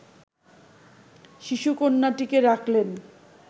শিশুকন্যাটিকে রাখলেন